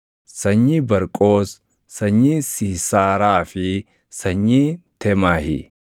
sanyii Barqoos, sanyii Siisaaraa fi sanyii Teemahi;